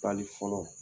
Taali fɔlɔ